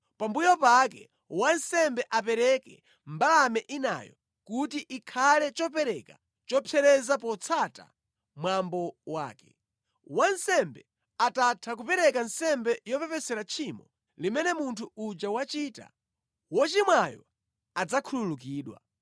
Pambuyo pake wansembe apereke mbalame inayo kuti ikhale chopereka chopsereza potsata mwambo wake. Wansembe atatha kupereka nsembe yopepesera tchimo limene munthu uja wachita, wochimwayo adzakhululukidwa.